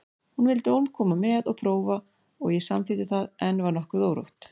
Hún vildi ólm koma með og prófa og ég samþykkti það en var nokkuð órótt.